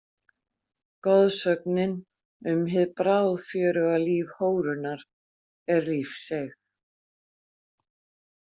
Goðsögnin um hið bráðfjöruga líf hórunnar er lífseig.